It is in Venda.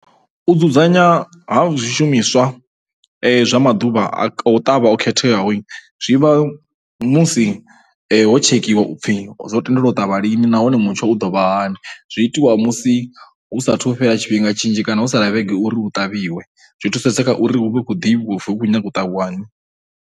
U dzudzanywa ha zwishumiswa zwa maḓuvha a u ṱavha o khetheaho zwi vha musi ho tshekiwa u pfhi ro tendelwa u ṱavha lini nahone mutsho u ḓo vha hani. Zwi itiwa musi hu saathu fhela tshifhinga tshinzhi kana ho sala vhege uri hu ṱavhiwe, zwi thusesa kha uri hu vhe hu khou ḓivhiwa uri hu khou nyanga u ṱavhiwa ni.